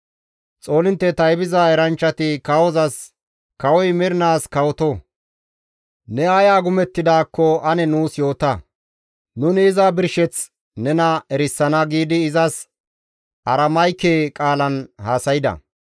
Xoolintte taybiza eranchchati kawozas, «Kawoy mernaas kawoto! Ne ay agumettidaakko ane nuus yoota; nuni iza birsheth nena erisana» giidi izas Aramayke qaalan haasayda.